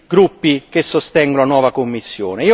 gruppi che sostengono la nuova Commissione.